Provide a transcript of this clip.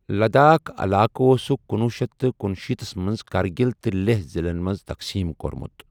لداخ علاقہٕ اوسُکھ کُنوُہ شیٚتھ تہٕ کنُشیٖتس منٛز کارگِل تہٕ لیہہ ضِلَن منٛز تقسیٖم کوٚرمُت۔